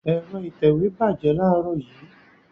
Ẹ̀rọ ìtẹ̀wé bàjẹ́ láàárọ̀ yìí.